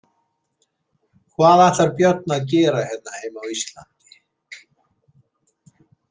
Hvað ætlar Björn að gera hérna heima á Íslandi?